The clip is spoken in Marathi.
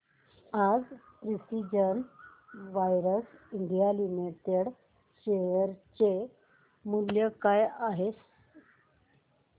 आज प्रिसीजन वायर्स इंडिया लिमिटेड च्या शेअर चे मूल्य काय आहे